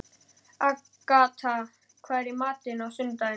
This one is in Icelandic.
Agatha, hvað er í matinn á sunnudaginn?